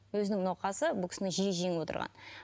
өзінің науқасы бұл кісіні жиі жеңіп отырған